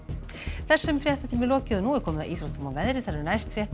þessum fréttatíma er lokið og komið að íþróttum og veðri næstu fréttir